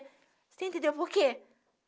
Você entendeu por quê?